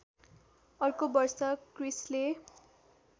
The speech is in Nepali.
अर्को वर्ष क्रिस्‌ले